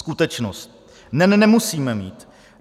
Skutečnost: NEN nemusíme mít.